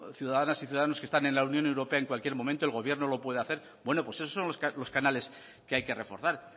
ciudadanas y ciudadanos que están en la unión europea en cualquier momento el gobierno lo puede hacer bueno pues esos son los canales que hay que reforzar